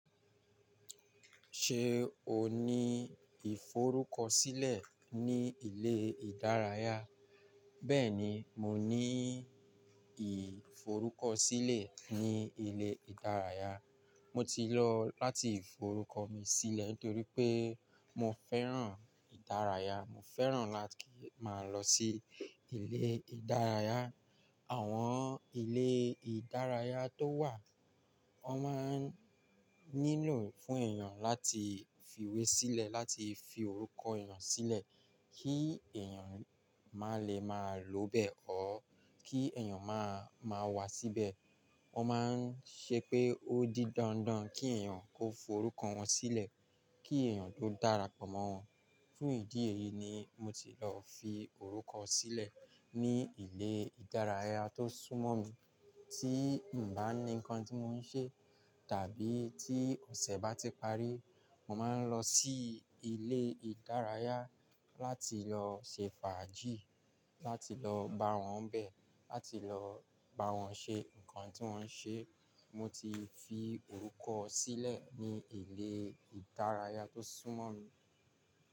Ṣé o ní ìforúkọsílẹ̀ ní ilé ìdárayá? Bẹ́ẹ̀ni, mo ní ìforúkọsílẹ̀ ní ilé ìdárayá. Mo ti lọ láti forúkọ mi sílẹ̀ nítorí pé mo fẹ́ràn ìdárayá. Mo fẹ́ràn láti máa lọ sí ilé ìdárayá. Àwọn ilé ìdárayá tó wà, wọn máa ń nílò fún èèyàn láti fi iwé sílẹ̀, láti fi orúkọ èèyàn sílẹ̀ kí èèyàn má lè máa lò bẹ̀ o, kí èèyàn má, má wá síbẹ̀. Wọ́n máa ń ṣe pé ó di dandan kí èèyàn kó forúkọ wọn sílẹ̀, kí èèyàn tó darapọ̀ mọ́ wọn. Fún ìdí èyí ni mo ti lọ fi orúkọ sílẹ̀ ní ilé ìdárayá tó súnmọ́ mi. Tí n bá ní nǹkan tí mò ń ṣe tàbí tí ọ̀sẹ̀ bá ti parí, mo máa ń lọ sí ilé ìdárayá láti lọ ṣe fàájì, láti lọ bá wọn bẹ̀, láti lọ bá wọn ṣe nǹkan tí wọ́n ń ṣe. Mo ti fi orúkọ sílẹ̀ ní ilé ìdárayá tó súnmọ́ mi.